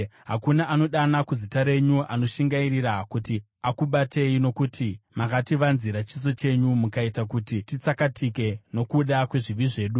Hakuna anodana kuzita renyu kana anoshingairira kuti akubatei; nokuti makativanzira chiso chenyu mukaita kuti tiperezeke nokuda kwezvivi zvedu.